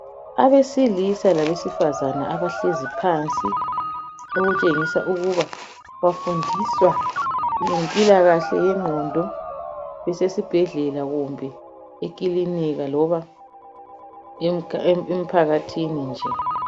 Abesilisa labesifazana abahlezi phansi okutshengisa ukuba bafundiswa ngempilakahle yengqondo kusesibhedlela kumbe ekilinika loba emphakathini nje.